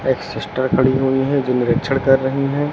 एक सिस्टर खड़ी हुई है जो निरीक्षण कर रही हैं।